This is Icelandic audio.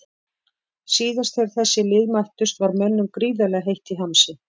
Síðast þegar þessi lið mættust var mönnum gríðarlega heitt í hamsi.